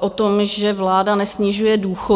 o tom, že vláda nesnižuje důchody.